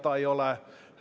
Protseduuriline küsimus.